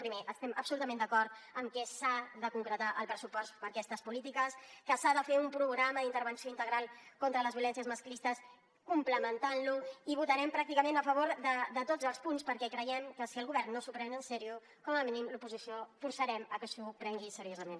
primer estem absolutament d’acord que s’ha de concretar el pressupost per a aquestes polítiques que s’ha de fer un programa d’intervenció integral contra les violències masclistes complementant lo i votarem pràcticament a favor de tots els punts perquè creiem que si el govern no s’ho pren seriosament com a mínim l’oposició forçarem que s’ho prengui seriosament